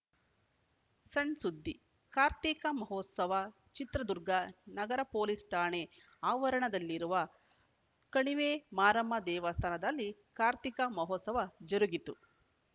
ಸಣ್‌ಸುದ್ದಿ ಕಾರ್ತಿಕ ಮಹೋಸವ ಚಿತ್ರದುರ್ಗ ನಗರ ಪೊಲೀಸ್‌ ಠಾಣೆ ಆವರಣದಲ್ಲಿರುವ ಕಣಿವೆಮಾರಮ್ಮ ದೇವಸ್ಥಾನದಲ್ಲಿ ಕಾರ್ತಿಕ ಮಹೋಸವ ಜರುಗಿತು